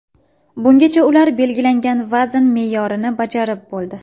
Bungacha ular belgilangan vazn me’yorini bajarib bo‘ldi.